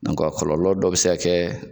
a kɔlɔlɔ dɔ bɛ se ka kɛ